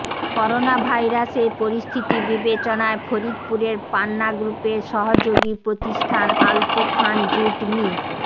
করোনাভাইরাসের পরিস্থিতি বিবেচনায় ফরিদপুরের পান্না গ্রুপের সহযোগী প্রতিষ্ঠান আলতু খান জুট মি